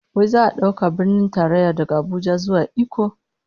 Wai za'a dauke Birnin Tarayya daga Abuja zuwa Ikko?